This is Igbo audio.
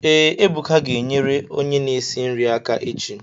Ee, Ebuka ga enyere onye na-esi nri aka echi